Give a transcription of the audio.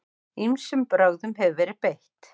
Ýmsum brögðum hefur verið beitt.